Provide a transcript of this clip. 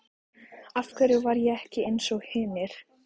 Af hverju var ég ekki einsog hinir?